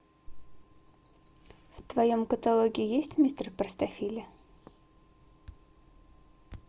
в твоем каталоге есть мистер простофиля